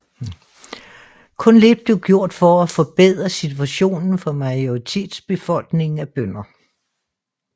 Kun lidt blev gjort for at forbedre situationen for majoritetsbefolkningen af bønder